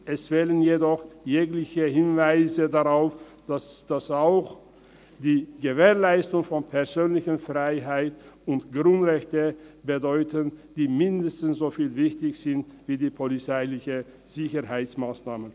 Es fehlen jedoch jegliche Hinweise darauf, dass auch die Gewährleistung der persönlichen Freiheit sowie der Grundrechte dazugehören, die mindestens so wichtig sind wie die polizeilichen Sicherheitsmassnahmen.